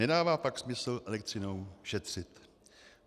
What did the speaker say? Nedává pak smysl elektřinou šetřit.